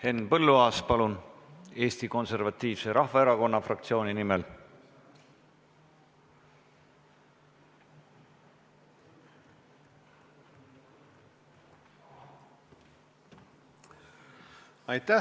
Henn Põlluaas, palun, Eesti Konservatiivse Rahvaerakonna fraktsiooni nimel!